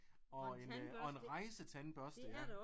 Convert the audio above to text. Og en og en rejsetandbørste ja